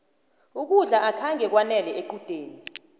ukudla akhange kwanele equdeni